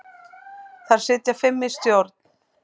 Þar sitja fimm í stjórn.